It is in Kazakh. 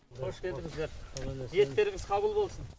қош келдіңіздер ниеттеріңіз қабыл болсын